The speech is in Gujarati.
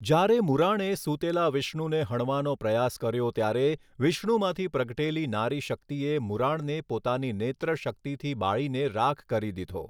જ્યારે મુરાણે સૂતેલા વિષ્ણુને હણવાનો પ્રયાસ કર્યો ત્યારે વિષ્ણુમાંથી પ્રગટેલી નારી શક્તિએ મુરાણને પોતાની નેત્રશક્તિથી બાળીને રાખ કરી દીધો.